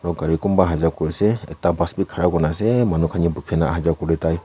gari kum bahar te kori se ekta bas bhi khara kori kina ase manu khan dekhi kina aha jua kori thaki se.